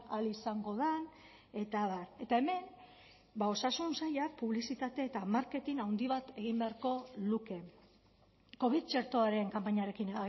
ahal izango den eta abar eta hemen osasun sailak publizitate eta marketing handi bat egin beharko luke covid txertoaren kanpainarekin